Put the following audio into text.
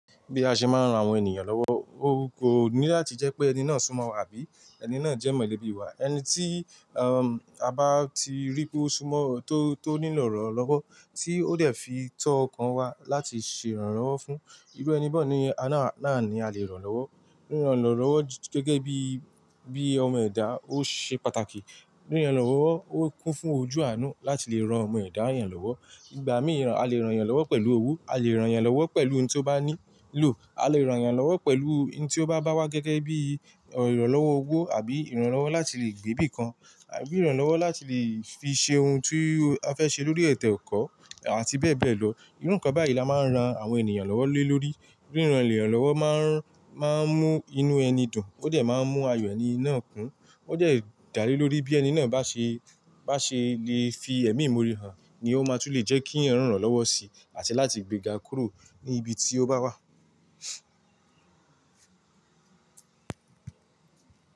Bí a ṣe máa ń ran àwọn ènìyàn lọ́wọ́, ó kò ní láti jẹ́ pé ẹni náà súnmo wa àbí ẹni náà jẹ́ mọ̀lẹ́bí wa. Ẹni tí, a bá ti rí pé ó súmọ́, tó, tó nílò ìrànlọ́wọ́, tí ó dẹ̀ fi tó ọkàn wa láti ṣe ìrànlọ́wọ́ fún, irú ẹni bọ́ ni a náà ni a lè ràn lọ́wọ́. Ríran lọ́wọ́ gẹ́gẹ́ bí, bí ọmọ ẹ̀dá ó ṣe pàtàkì. Ríran eeyan lọ́wọ́ ó kún fún ojú àánú láti lè ran ọmọ ẹ̀dá yẹn lọ́wọ́. Ìgbà mí, a lè ràn yẹn lọ́wọ́ pẹ̀lú owó, a lè ràn yẹn lọ́wọ́ pẹ̀lú ohun tí ó bá ní lò, a lè ràn yẹn lọ́wọ́ pẹ̀lú ohun tí ó bá wá gẹ́gẹ́ bí ìrànlọ́wọ́ owó àbí ìrànlọ́wọ́ láti lè gbé bí kan àbí ìrànlọ́wọ́ láti lè fi ṣe ohun tí a fẹ́ ṣe lórí ẹ̀to ekọ̀ àti bẹ́ẹ̀ bẹ́ẹ̀ lọ. Irú nǹkan báyìí ni a máa ń ran àwọn ènìyàn lọ́wọ́ lé lórí. Ríran lè ràn lọ́wọ́ máa ń, máa ń mú inú ẹni dùn, ó dẹ̀ máa ń mú ayọ̀ ẹni náà kún, ó dẹ̀ dá lé lórí bí ẹni náà bá ṣe, bá ṣe lè fi ẹ̀mí móra hàn ni ó máa tún lè jẹ́ kí ẹ̀ràn ràn lọ́wọ́ sí àti láti gbéga kúrò ní ibi tí ó bá wà.